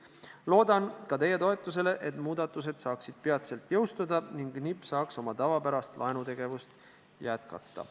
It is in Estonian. Loodan ka teie toetusele, et muudatused saaksid peatselt jõustuda ning NIB saaks oma tavapärast laenutegevust jätkata.